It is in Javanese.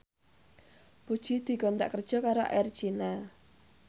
Puji dikontrak kerja karo Air China